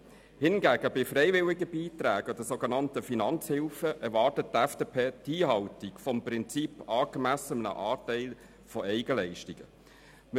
Hingegen erwartet die FDP bei freiwilligen Beiträgen oder sogenannten Finanzhilfen die Einhaltung des Prinzips, wonach ein angemessener Anteil an Eigenleistungen beizutragen ist.